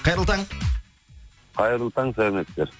қайырлы таң қайырлы таң сәлеметсіздер